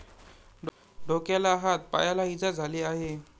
डोक्याला, हात, पायाला इजा झाली आहे.